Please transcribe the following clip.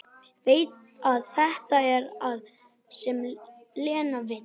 Veit að þetta er það sem Lena vill.